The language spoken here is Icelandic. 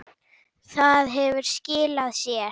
Það hefur skilað sér.